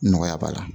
Nɔgɔya b'a la